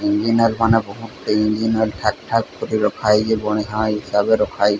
Engineer ମାନେ ବୋହୁ ଟେ ଇଂଜିନୟର ଥାକ୍ ଥାକ୍ କରି ରଖା ହେଇଚି ବଢ଼ିଆ ଇସାବରେ ରଖା ହେଇଚି।